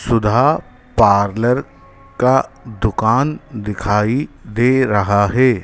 सुधा parlour का दुकान दिखाई दे रहा है।